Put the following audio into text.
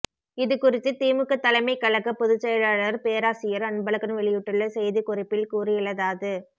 இது குறித்து திமுக தலைமைக் கழக பொதுச் செயலாளர் பேராசியர் அன்பழன் வெளியிட்டுள்ள செய்திக் குறிப்பில் கூறியுள்ளதாது